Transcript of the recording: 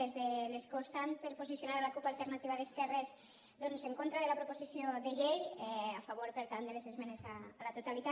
des de l’escó estant per posicionar la cup alternativa d’esquerres en contra de la proposició de llei a favor per tant de les esmenes a la totalitat